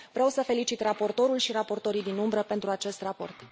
Vreau să felicit raportorul și raportorii din umbră pentru acest raport.